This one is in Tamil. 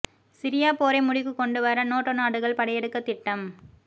சிரியா போரை முடிவுக்கு கொண்டு வர நேட்டோ நாடுகள் படையெடுக்க திட்டம்